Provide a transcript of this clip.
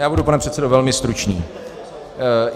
Já budu, pane předsedo, velmi stručný.